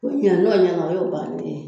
Ko ɲɛgɛn n'o ɲɛgɛnna o ye o bannen ye.